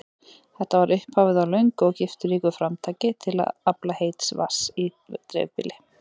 Þetta var upphafið á löngu og gifturíku framtaki til að afla heits vatns í dreifbýli.